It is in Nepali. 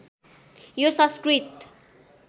यो संस्कृत